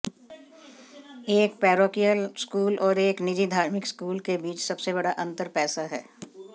एक parochial school और एक निजी धार्मिक स्कूल के बीच सबसे बड़ा अंतर पैसा है